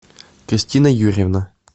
кристина юрьевна